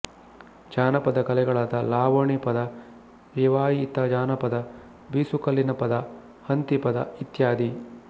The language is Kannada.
ಜಾನಪದ ಕಲೆಗಳಾದ ಲಾವಣಿ ಪದ ರಿವಾಯಿತ ಜಾನಪದ ಬೀಸುಕಲ್ಲಿನ ಪದ ಹಂತಿ ಪದ ಇತ್ಯಾದಿ